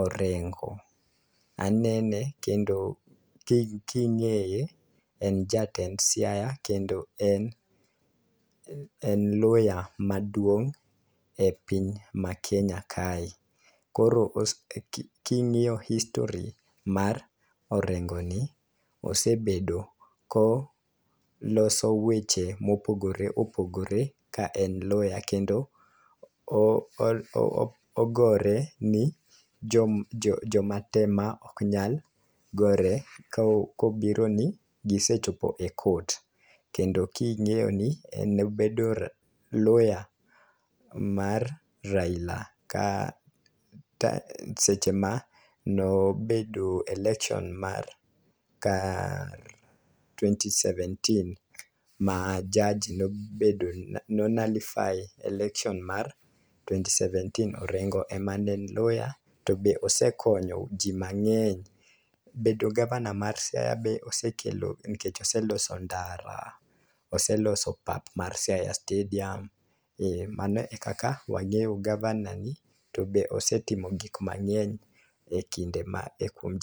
Orengo. Anene kendo king' king'eye en jatend siaya kendo en en loya maduong' e piny makenya kae. Koro os king'iyo history mar orengo ni osebedo koloso weche mopogore opogore ka en loya kendo o o o ogore ni jo joma te ma ok nyal gore ko kobiro ni gisechopo e court . Kendo king'eyo ni en bedo loya mar Raila kata seche mano bedo election mar kar twenty seventeen ma judge no nulify election mar twenty seventeen orengo ema ne loya to be osekonyo jii mang'eny bedo gavana mar siaya be osekelo nikech oseloso ndara oseloso pap mar siaya stadium . Mano ekaka wangeyo gavana ni to be osetimo gik mang'eny e kinde ma kuom